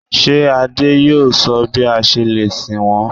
Ṣé Àdé yóò sọ bí a ṣe lè sin wọ́n?